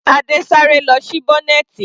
Adé sá eré lọ sí bọ́nẹ̀tì.